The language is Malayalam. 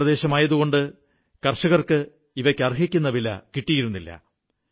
പർവ്വതപ്രദേശമായതുകൊണ്ട് കർഷകർക്ക് ഇവയ്ക്ക് അർഹിക്കുന്ന വില കിട്ടിയിരുന്നില്ല